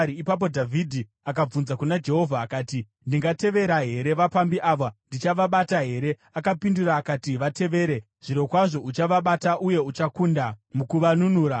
ipapo Dhavhidhi akabvunza kuna Jehovha akati, “Ndingatevera here vapambi ava? Ndichavabata here?” Akapindura akati, “Vatevere. Zvirokwazvo uchavabata uye uchakunda mukuvanunura.”